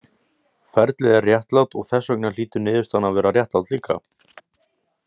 Ferlið er réttlátt, og þess vegna hlýtur niðurstaðan að vera réttlát líka.